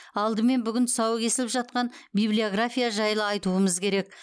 алдымен бүгін тұсауы кесіліп жатқан библиография жайлы айтуымыз керек